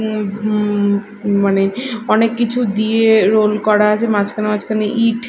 উম উ উ মানে অনেক কিছু দিয়ে রোল করা আছে মাঝখানে মাঝখানে ইট।